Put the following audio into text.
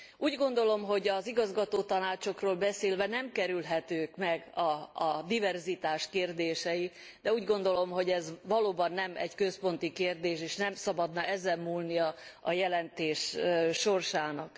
Úgy gondolom, hogy az igazgatótanácsokról beszélve nem kerülhetők meg a diverzitás kérdései, de úgy gondolom, hogy ez valóban nem egy központi kérdés, és nem szabadna ezen múlnia a jelentés sorsának.